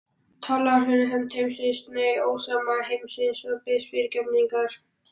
Talar fyrir hönd heimsins, nei, ósóma heimsins, og biðst fyrirgefningar?